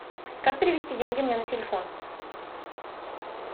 как перевести деньги мне на телефон